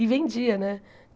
E vendia, né?